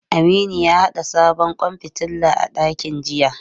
Aminu ya haɗa sabon kwan fitila a dakin jiya.